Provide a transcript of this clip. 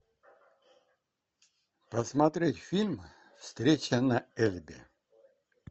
посмотреть фильм встреча на эльбе